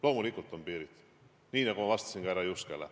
Loomulikult on piirid, nii nagu ma vastasin ka härra Juskele.